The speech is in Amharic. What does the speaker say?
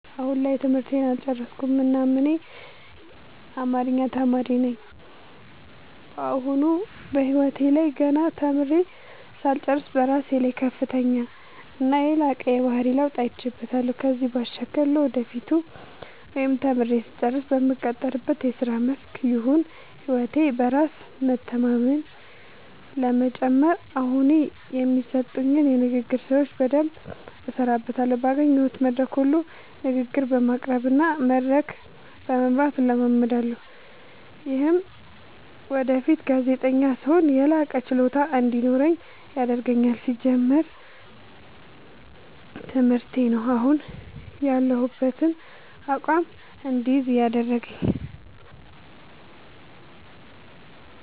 አሁን ላይ ትምህርቴን አልጨረስኩም እናም እኔ አማሪኛ ተማሪ ነኝ በአሁኑ በህይወቴ ላይ ገና ተምሬ ሳልጨርስ በራሴ ላይ ከፍተኛና የላቀ የባህሪ ለውጥ አይቼበታለው ከዚህም ባሻገር ለወደፊቱ ወይም ተምሬ ስጨርስ በምቀጠርበት የስራ መስክ ይሁን ህይወቴ በራስ በመተማመን ለመጨመር አሁኒ የሚሰጡኝን የንግግር ስራዎች በደምብ እሠራበታለሁ ባገኘሁት መድረክ ሁሉ ንግግር በማቅረብ እና መድረክ በመምራት እለማመዳለሁ። ይምህም ወደፊት ጋዜጠኛ ስሆን የላቀ ችሎታ እንዲኖረኝ ያደርገኛል። ሲጀመር ትምህርቴ ነው። አሁን ያሁበትን አቋም እድይዝ ያደረገኝ።